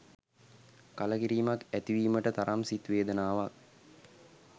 කලකිරීමක් ඇතිවීමට තරම් සිත් වේදනාවක්